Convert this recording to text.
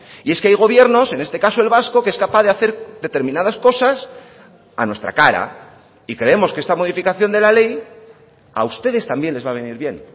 y es que hay gobiernos en este caso el vasco que es capaz de hacer determinadas cosas a nuestra cara y creemos que esta modificación de la ley a ustedes también les va a venir bien